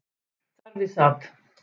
Þar við sat